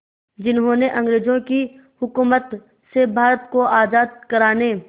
जिन्होंने अंग्रेज़ों की हुकूमत से भारत को आज़ाद कराने